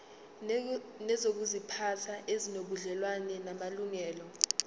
nezokuziphatha ezinobudlelwano namalungelo